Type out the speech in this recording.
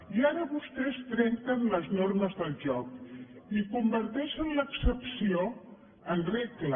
i ara vostès trenquen les normes del joc i converteixen l’excepció en regla